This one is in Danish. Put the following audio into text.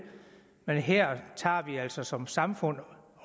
men her tager vi altså som samfund